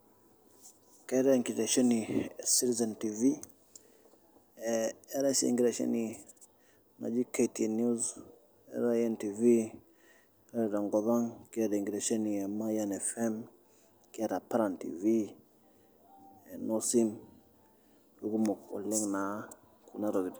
Keetai enkiteshoni e Citizen Tv, eetai sii enkiteshoni naji KTN News neetai NTV , ore tenkop ang' neetai Mayian FM, neetai Paran Tv ee Nosim FM ekumok oleng naa kuna tokitin.